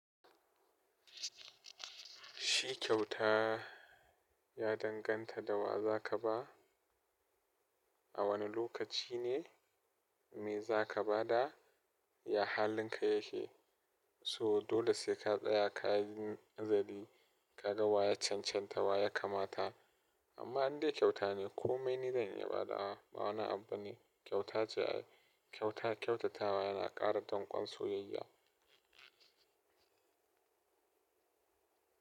Shi kyauta ya danganta da wa za ka ba, a wane lokaci ne, me za ka ba da, ya halinka yake, so dole sai ka tsaya ka yi nazari ka ga wa ya cancanta wa ya kamata. Amma in dai kyauta ne komai ni dan iya ba da wa, ba wani abu bane kyauta ce ai. Kyauta kyautatawa yana ƙara danƙwon soyayya.